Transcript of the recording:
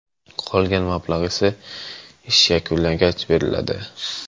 Qolgan mablag‘ esa ish yakunlangach beriladi.